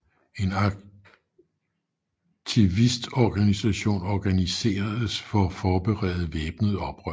En aktivistorganisation organiseredes for at forberede væbnet oprør